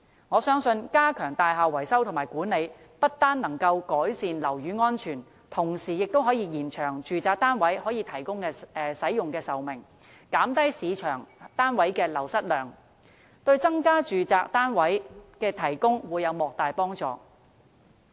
我相信，加強大廈維修和管理，不單可以改善樓宇安全，同時亦可延長住宅單位可供使用的壽命，減低市場上單位的流失量，對增加住宅單位供應會有莫大幫助。